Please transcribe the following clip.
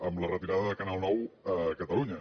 amb la retirada de canal nou a catalunya